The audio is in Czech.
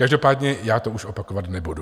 Každopádně já už to opakovat nebudu.